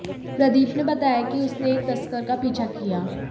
प्रदीप ने बताया कि उसने एक तस्कर का पीछा किया